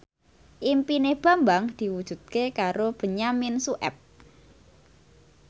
impine Bambang diwujudke karo Benyamin Sueb